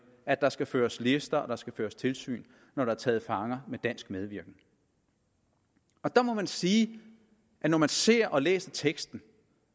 at der skal føres lister og der skal føres tilsyn når der er taget fanger med dansk medvirken der må man sige at når man ser og læser teksten